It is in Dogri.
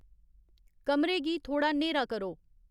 कमरे गी थोह्ड़ा न्हेरा करो